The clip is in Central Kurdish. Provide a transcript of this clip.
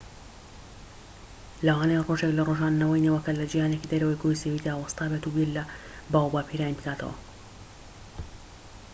لەوانەیە ڕۆژێك لە ڕۆژان نەوەی نەوەکەت لە جیهانێکی دەرەوەی گۆی زەویدا وەستابێت و بیر لە باووباپیرانی بکاتەوە